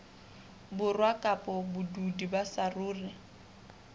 borwa kapa badudi ba saruri